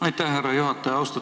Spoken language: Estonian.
Aitäh, härra juhataja!